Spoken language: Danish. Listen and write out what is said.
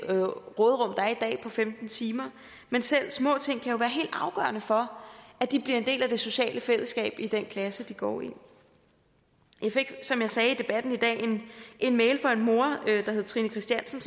råderum der er i dag på femten timer men selv små ting kan jo være helt afgørende for at de bliver en del af det sociale fællesskab i den klasse de går i jeg fik som jeg sagde i debatten i dag en mail fra en mor der hedder trine christiansen